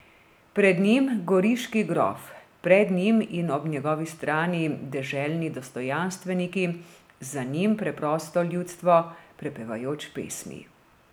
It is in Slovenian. Pred njim goriški grof, pred njim in ob njegovi strani deželni dostojanstveniki, za njim preprosto ljudstvo, prepevajoč pesmi.